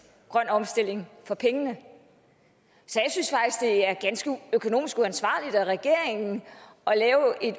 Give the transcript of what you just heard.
grøn omstilling for pengene så jeg synes er ganske økonomisk uansvarligt af regeringen at lave et